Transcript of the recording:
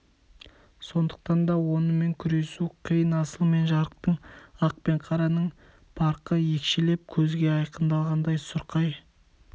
сондықтан да онымен күресу қиын асыл мен жасықтың ақ пен қараның парқы екшеліп көзге айқындалғандай сұрқай